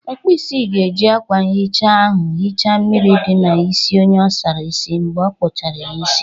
Ọkpụisi ga-eji akwa ihicha ahụ hicha mmiri dị na isi onye o sara isi mgbe okpuchara ya isi.